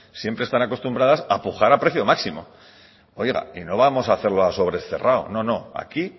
siempre están acostumbradas a pujar a precio máximo oiga y no vamos a hacerlo a sobre cerrado no no aquí